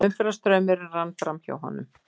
Umferðarstraumurinn rann framhjá honum.